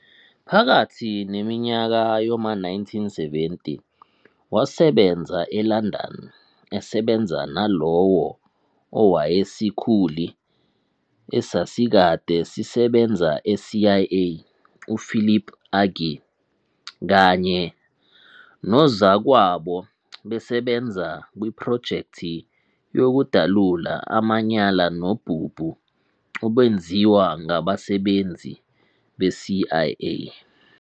Phakathi neminyaka yoma 1970, wasebenza e-London esebenza nalowo owayesikhuli esasikade sisebenza e-CIA uPhilip Agee kanye nozakwabo "besebenza kwiprojekthi yokudalula amanyala nobubu obenziwa ngabasebenzi be-CIA".